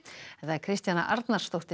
Kristjana Arnarsdóttir